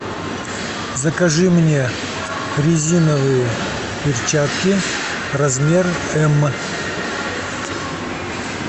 закажи мне резиновые перчатки размер м